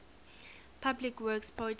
public works projects